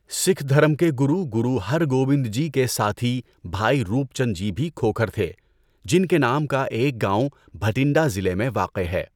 سکھ دھرم کے گرو گروہرگوبند جی کے ساتھی بھائی روپ چند جی بھی کھوکھر تھے جن كے نام كا ایک گاؤں بہٹنڈا ضلع میں واقع ہے ـ